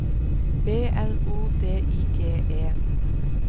B L O D I G E